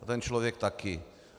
A ten člověk taky.